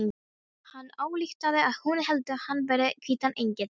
Hann ályktaði að hún héldi hann vera hvítan engil.